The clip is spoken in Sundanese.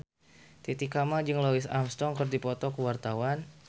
Titi Kamal jeung Louis Armstrong keur dipoto ku wartawan